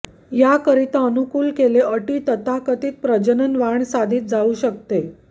या करीता अनुकूल केले अटी तथाकथित प्रजनन वाण साधित जाऊ शकते